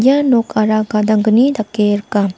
ia nokara gadanggni dake rika.